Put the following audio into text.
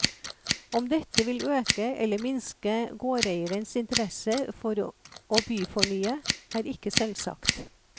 Om dette vil øke eller minske gårdeiernes interesse for å byfornye, er ikke selvsagt.